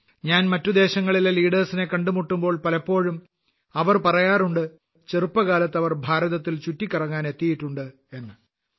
ഞാൻ മറ്റു ദേശങ്ങളിലെ നേതാക്കളെ കണ്ടുമുട്ടുമ്പോൾ പലപ്പോഴും അവർ പറയാറുണ്ട് ചെറുപ്പകാലത്ത് അവർ ഭാരതത്തിൽ ചുറ്റിക്കറങ്ങാൻ എത്തിയിട്ടുണ്ട് എന്ന്